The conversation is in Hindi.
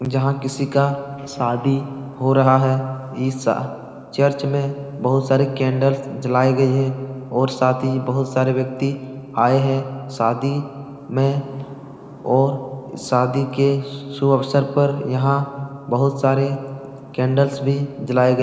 जहाँ किसी का शादी हो रहा है। ईशा चर्च में बहुत सारी कैंडल्स जलाई गयी हैं और साथ ही बहुत सारे व्यक्ति आए हैं। शादी में और शादी के शुभ अवसर पर यहाँ बहुत सारे कैंडल्स भी जलाये ग --